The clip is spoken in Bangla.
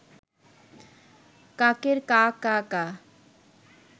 কাকের কা কা কা